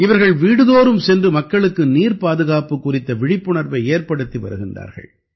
இவர்கள் வீடுதோறும் சென்று மக்களுக்கு நீர்ப்பாதுகாப்பு குறித்த விழிப்புணர்வை ஏற்படுத்தி வருகிறார்கள்